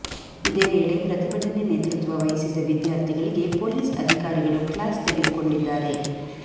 ಇದೇ ವೇಳೆ ಪ್ರತಿಭಟನೆ ನೇತೃತ್ವ ವಹಿಸಿದ್ದ ವಿದ್ಯಾರ್ಥಿಗಳಿಗೆ ಪೊಲೀಸ್ ಅಧಿಕಾರಿಗಳು ಕ್ಲಾಸ್ ತೆಗೆದುಕೊಂಡಿದ್ದಾರೆ